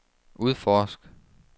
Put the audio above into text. udforsk